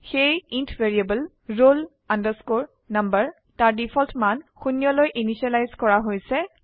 সেয়ে int variable roll number তাৰ default মান শূন্যলৈ ইনিসিয়েলাইজ কৰা হৈছে